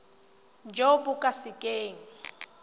jo bo ka se keng